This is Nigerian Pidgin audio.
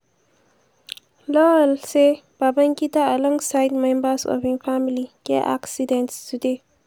lawal say “babangida alongside members of im family get accident today.